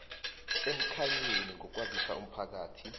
emkhanyweni ngokwazisa umphakathi